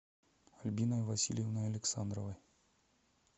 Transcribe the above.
альбиной васильевной александровой